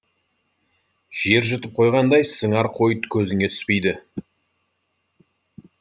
жер жұтып қойғандай сыңар қой көзіне түспейді